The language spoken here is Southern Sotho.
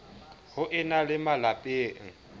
ho e na le malapeng